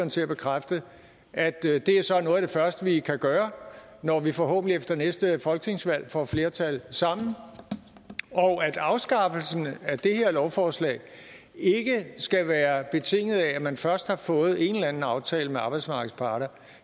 til at bekræfte at det så er noget af det første vi kan gøre når vi forhåbentlig efter næste folketingsvalg får flertal sammen og at afskaffelsen af det her lovforslag ikke skal være betinget af at man først har fået en eller en aftale med arbejdsmarkedets parter